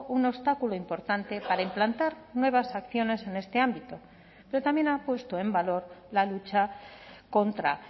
un obstáculo importante para implantar nuevas acciones en este ámbito pero también ha puesto en valor la lucha contra